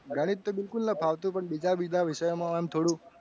ગણિત તો મને ફાવતું. પણ બીજા બીજા વિષયો માં થોડુંક